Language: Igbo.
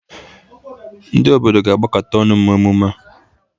Ndị obodo ga-agbakọta ọnụ mee emume a.